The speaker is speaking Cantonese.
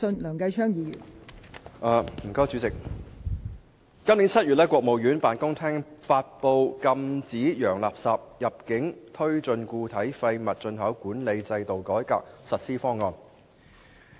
代理主席，今年7月，國務院辦公廳發布《禁止洋垃圾入境推進固體廢物進口管理制度改革實施方案》。